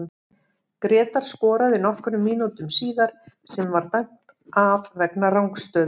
Grétar skoraði nokkrum mínútum síðar sem var dæmt af vegna rangstöðu.